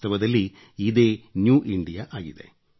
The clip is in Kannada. ವಾಸ್ತವದಲ್ಲಿ ಇದೇ ನ್ಯೂ ಇಂಡಿಯಾಆಗಿದೆ